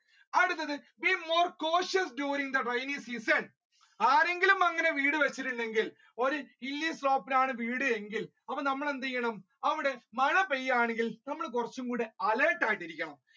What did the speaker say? അടുത്ത് be more cautious during the rainy season ആരെങ്കിലും അങ്ങനെ വീട് വെച്ചിട്ടുണ്ടെങ്കിൽ ഒരു hilly slope ലാണ് വീട് എങ്കിൽ അപ്പൊ നമ്മൾ എന്ത് ചെയ്യണം അവിടെ മഴ പെയ്യുക ആണെങ്കിൽ നമ്മൾ കുറച്ചും കൂടി alerta ആയിട്ട് ഇരിക്കണം.